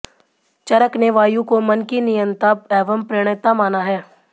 चरक ने वायु को मन का नियंता एवं प्रणेता माना है